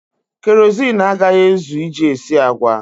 Kerọsinụ agaghị ezu iji esi agwa.